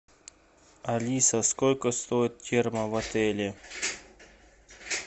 алиса сколько стоит терма в отеле